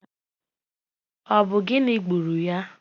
Ọ bụ gịnị gburu ya?